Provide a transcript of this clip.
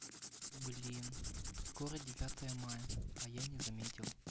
блин скоро девятое мая а я не заметил